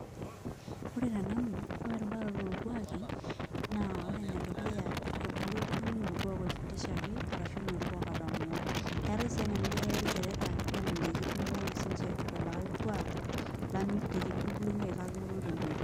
Ore tenanu, ore erubaroto orkuaki, naa ore enedukuya ebulu oltung'ani enaa orkuak oifundishaki, arashu enorkuak otamoo. Eetae si ena niboitare ilchoreta nelelek kidung'oki sinche lo likae kuak, litu nkindubulunyeki kake noto tenkoitoi.